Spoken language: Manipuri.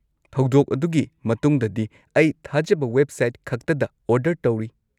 ꯊꯧꯗꯣꯛ ꯑꯗꯨꯒꯤ ꯃꯇꯨꯡꯗꯗꯤ, ꯑꯩ ꯊꯥꯖꯕ ꯋꯦꯕꯁꯥꯏꯠꯈꯛꯇꯗ ꯑꯣꯔꯗꯔ ꯇꯧꯔꯤ꯫